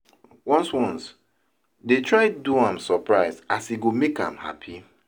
ones ones dey try do am soprise as e go mek am hapi